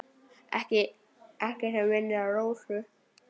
Ekkert sem minnir á Rósu.